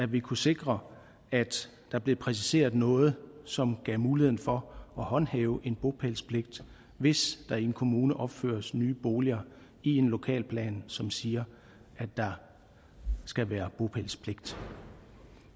vi kunne sikre at der blev præciseret noget som gav muligheden for at håndhæve en bopælspligt hvis der i en kommune opføres nye boliger i en lokalplan som siger at der skal være bopælspligt